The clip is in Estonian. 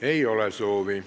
Ei ole soovi.